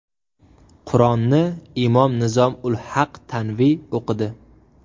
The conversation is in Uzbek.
Qur’onni imom Nizom ul Haq Tanvi o‘qidi.